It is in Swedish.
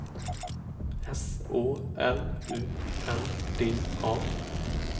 S Å L U N D A